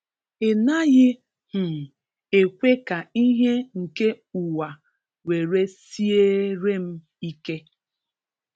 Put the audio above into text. Inaghi um ekwe ka ihe nke uwa were siere m ike